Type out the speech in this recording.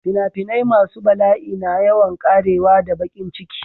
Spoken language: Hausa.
Finafinai masu bala'i na yawan ƙarewa da baƙin ciki.